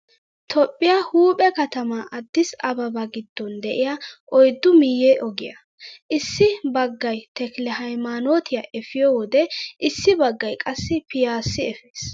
Toophphiyaa huuphe katamaa aadis ababaa giddon de'iyaa oyiddu miyye ogiyaa. Issi baggayi tekile hayimaanootiyaa epiyoo wode issi baggayi qassi piyyaasi epes.